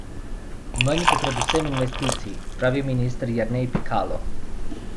Manj bo predvsem investicij, pravi minister Jernej Pikalo.